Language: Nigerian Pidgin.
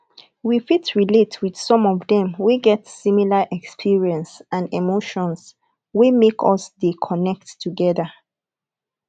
we fit relate with some of them wey get similar experience and emotions wey make us de connect together